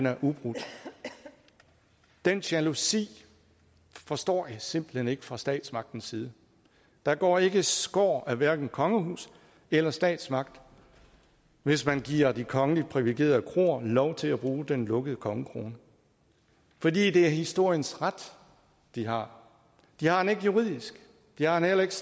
er ubrudt den jalousi forstår jeg simpelt hen ikke fra statsmagtens side der går ikke skår af hverken kongehus eller statsmagt hvis man giver de kongeligt privilegerede kroer lov til at bruge den lukkede kongekrone for det er historiens ret de har de har den ikke juridisk de har den heller ikke